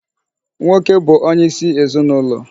Nwoke bụ onyeisi ezinụlọ.